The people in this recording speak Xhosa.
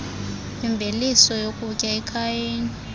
kwimveliso yokutya ekhayeni